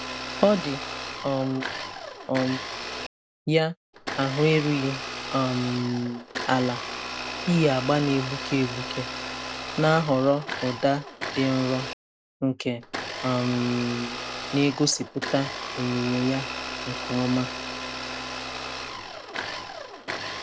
Ọ dị um um ya ahụ erughị um ala iyi agba na-egbuke egbuke, na-ahọrọ ụda dị nro nke um na-egosipụta onyinyo ya nke ọma.